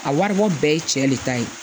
A wari bɔ bɛɛ ye cɛ le ta ye